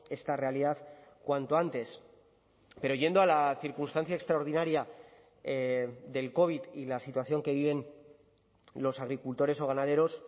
esta realidad cuanto antes pero yendo a la circunstancia extraordinaria del covid y la situación que viven los agricultores o ganaderos